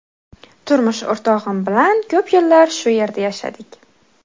Turmush o‘rtog‘im bilan ko‘p yillar shu yerda yashadik.